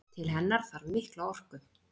Til hennar þarf mikla orku.